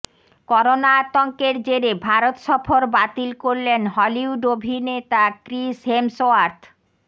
corona আতঙ্কের জেরে ভারত সফর বাতিল করলেন হলিউড অভিনেতা ক্রিস হেমসওয়ার্থ